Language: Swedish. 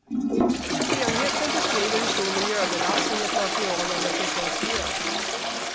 Enheten beskriver hur stor miljöbelastning ett material eller process ger.